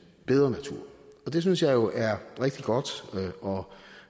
bedre natur og det synes jeg jo er rigtig godt og